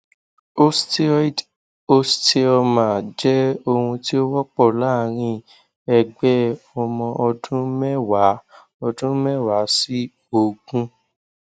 osteoid osteoma jẹ ohun tí ó wọpọ láàárín ẹgbẹ ọmọ ọdún mẹwàá ọdún mẹwàá sí ogún